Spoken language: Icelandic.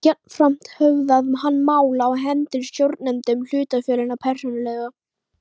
Jafnframt höfðað hann mál á hendur stjórnendum hlutafélaganna persónulega.